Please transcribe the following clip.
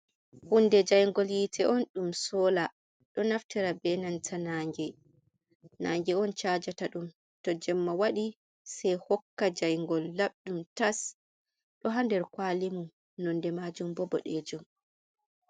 Hunde jaingol yite on ɗum soola. Ɗo naftira be nanta nnange. Nnange on cajata dum. to jemma wadi sai hokka jaingol labdum tas. Ɗo ha nder kwalemun nonde majun bo bodejum.